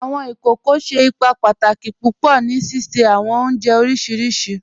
Awọn ikókò ṣẹ́ ìpà pàtàkì púpọ̀ ní síṣẹ̀ awọn ọ̀njẹ̀ oríṣiríṣì